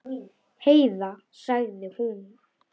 Heiða, sagði hún.